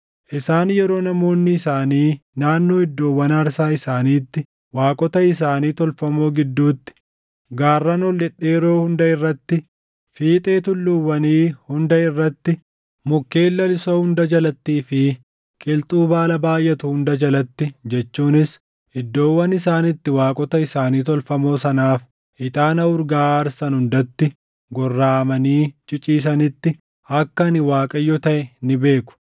Isaan yeroo namoonni isaanii naannoo iddoowwan aarsaa isaaniitti, waaqota isaanii tolfamoo gidduutti, gaarran ol dhedheeroo hunda irratti, fiixee tulluuwwanii hunda irratti, mukkeen lalisoo hunda jalattii fi qilxuu baala baayʼatu hunda jalatti jechuunis iddoowwan isaan itti waaqota isaanii tolfamoo sanaaf ixaana urgaaʼaa aarsan hundatti gorraʼamanii ciciisanitti, akka ani Waaqayyo taʼe ni beeku.